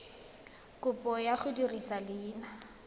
kopo ya go dirisa leina